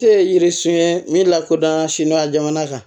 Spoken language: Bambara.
Tɛ yiri sun ye min lakodɔnna sina jamana kan